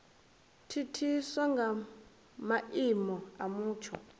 thithiswa nga maimo a mutsho